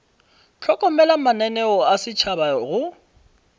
hlokomela mananeo a setšhaba go